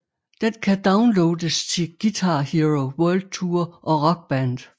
Den kan downloades til Guitar Hero World Tour og Rock Band